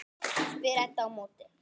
spyr Edda á móti.